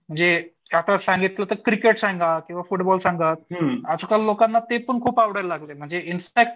जे कायतर सांगितलं होतं की क्रिकेट सांगा. किंवा फुटबॉल सांगा आजकाल लोकांना ते पण खूप आवडायला लागलंय म्हणजे इनफॅक्ट